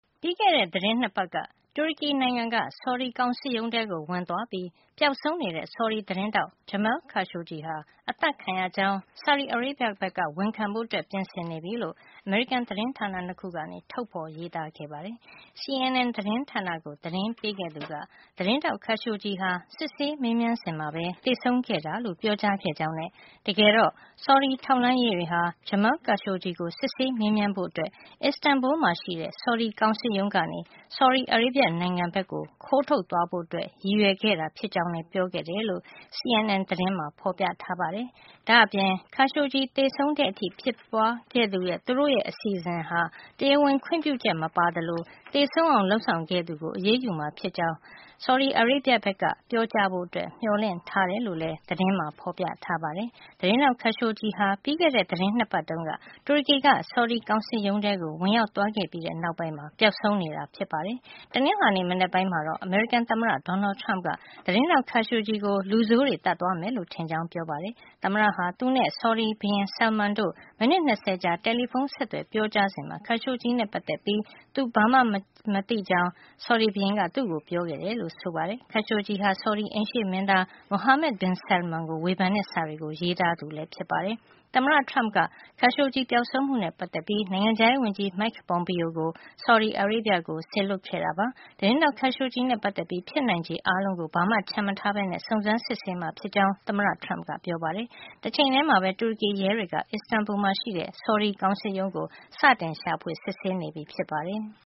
ပြီးခဲ့တဲ့ သီတင်း ၂ ပတ်က တူရကီနိုင်ငံက ဆော်ဒီကောင်စစ်ရုံးထဲ ဝင်သွားပြီး ပျောက်ဆုံးနေတဲ့ ဆော်ဒီ သတင်းထောက် Jamal Khashoggi ဟာ အသတ်ခံရကြောင်း ဆော်ဒီအာရေဗျက ဝန်ခံဖို့ ပြင်နေပြီလို့ အမေရိကန် သတင်းဌာန ၂ ခုက ထုတ်ဖေါ်ရေးသားခဲ့ပါတယ်။ CNN သတင်းဌာနကို သတင်းပေးခဲ့သူက သတင်းထောက် Khashoggi ဟာ စစ်ဆေးမေးမြန်းစဉ်မှာ သေဆုံးခဲ့တာလို့ ပြောကြားခဲ့ကြောင်း နဲ့ တကယ်တော့ ဆော်ဒီထောက်လှန်းရေးတွေက Jamal Khashoggi ကို စစ်ဆေးမေးမြန်းဖို့အတွက် Istanbul မှာရှိတဲ့ ဆော်ဒီကောင်စစ်ရုံး ကနေ ဆော်ဒီအာရေဗျ နိုင်ငံကို ခိုးထုတ်သွားဖို့ ရည်ရွယ်ခဲ့တာ ဖြစ်ကြောင်း လည်း ပြောခဲ့တယ်လို့ CNN သတင်းမှာ ဖေါ်ပြထားပါတယ်။ ဒါ့အပြင် အခု Khashoggi သေဆုံးတဲ့ အထိ ဖြစ်သွားခဲ့တဲ့ သူတို့ရဲ့ အစီအစဉ်ဟာ တရားဝင်ခွင့်ပြုချက်မပါသလို သေဆုံးအောင် လုပ်ဆောင်ခဲ့သူကို အရေးယူမှာ ဖြစ်ကြောင်းလည်း ဆော်ဒီအာရေဗျ ဘက်က ပြောကြားဖို့ မျှော်လင့်ထားတယ် လို့လည်း သတင်းမှာ ဖေါ်ပြထားပါတယ်။ သတင်းထောက် Khashoggi ဟာ ပြီးခဲ့တဲ့ သီတင်း ၂ ပတ်တုန်းက တူရကီက ဆော်ဒီကောင်စစ်ရုံးထဲကို ဝင်ရောက်သွားခဲ့ပြီးတဲ့ နောက်ပိုင်း ပျောက်ဆုံးနေတာဖြစ်ပါတယ်။ တနင်္လာနေ့ မနက်ပိုင်းမှာတော့ အမေရိကန် သမ္မတ Donald Trump က သတင်းထောက် Khashoggi ကို လူဆိုးတွေ သတ်သွား မယ်လို့ ထင်ကြောင်း ပြောပါတယ်။ သမ္မတ Trump က သူနဲ့ ဆော်ဒီဘုရင် Salman တို့ မိနစ် ၂၀ ကြာ တယ်လီဖုန်း ဆက်သွယ်ပြောကြားစဉ်မှာ Khashoggi နဲ့ပတ်သက်ပြီး သူဘာမှ မသိကြောင်း သူ့ကို ပြောခဲ့တယ်လို့ ဆိုပါတယ်။ Khashoggi ဟာ ဆော်ဒီအိမ်ရှေ့မင်းသား Mohammed bin Salman ကို ဝေဖန်တဲ့ စာတွေ ရေးသားသူဖြစ်ပါတယ်။ သမ္မတ Trump က Khashoggi ပျောက်ဆုံးမှုနဲ့ ပတ်သက်ပြီး နိုင်ငံခြားရေး ဝန်ကြီး Mike Pompeo ကို ဆော်ဒီအာရေဗျကို စေလွှတ်ခဲ့တာပါ။ သတင်းထောက် Khashoggi နဲ့ပတ်သက်ပြီး ဖြစ်နိုင်ချေ အားလုံးကို ဘာမှ ချန်မထားပဲ စုံစမ်းစစ်ဆေးမှာ ဖြစ်ကြောင်း သမ္မတ Trump က ပြောပါတယ်။ တချိန်ထဲမှာပဲ တူရကီရဲတွေက Istanbuk က ဆော်ဒီကောင်စစ်ရုံးကို စတင်ရှာဖွေ စစ်ဆေးနေပြီဖြစ်ပါတယ်။